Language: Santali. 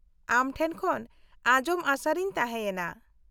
-ᱟᱢ ᱴᱷᱮᱱ ᱠᱷᱚᱱ ᱟᱡᱚᱢ ᱟᱸᱥᱟᱨᱮᱧ ᱛᱟᱦᱮᱸᱭᱮᱱᱟ ᱾